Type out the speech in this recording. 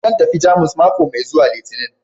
Zan tafi Jamus mako mai zuwa Litinin